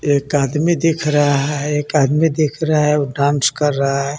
एक आदमी दिख रहा है एक आदमी दिख रहा है वो डांस कर रहा है.